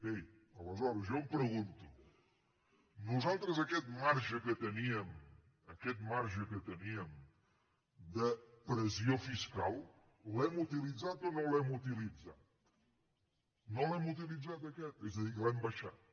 bé aleshores jo em pregunto nosaltres aquest marge que teníem aquest marge que teníem de pressió fiscal l’hem utilitzat o no l’hem utilitzat no l’hem utilitzat aquest és a dir que l’hem abaixat